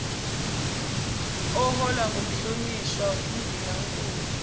oholwa ngumhlonishwa undunankulu